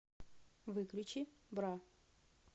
выключи бра